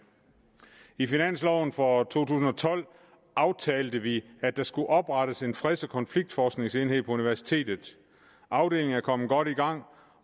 i finansloven for to tusind og tolv aftalte vi at der skulle oprettes en freds og konfliktforskningsenhed på universitetet afdelingen er kommet godt i gang